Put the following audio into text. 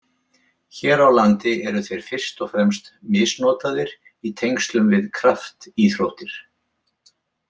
Hér á landi eru þeir fyrst og fremst misnotaðir í tengslum við kraftíþróttir.